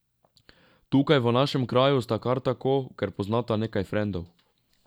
Tukaj, v našem kraju sta kar tako, ker poznata nekaj frendov.